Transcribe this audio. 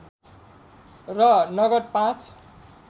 र नगद पाँच